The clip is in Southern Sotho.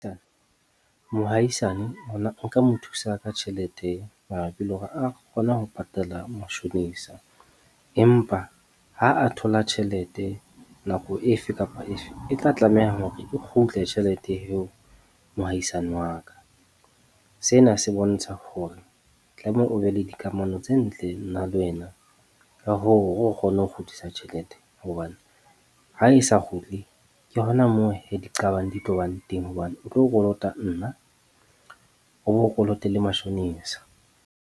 Mohaisane hona nka mo thusa ka tjhelete mara pele hore a kgone ho patala mashonisa. Empa ha a thola tjhelete nako efe kapa efe, e tla tlameha hore e kgutle tjhelete eo mohaisane wa ka. Sena se bontsha hore tlameha o be le dikamano tse ntle nna le wena ka hoo hore o kgone ho kgutlisa tjhelete. Hobane ha e sa kgutle ke hona moo hee diqabang di tlo bang teng hobane o tlo kolota nna, o bo kolote le mashonisa.